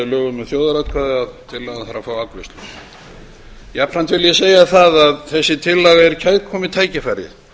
lögum um þjóðaratkvæði að tillagan þarf að fá afgreiðslu jafnframt vil ég segja það að þessi tillaga er kærkomið tækifæri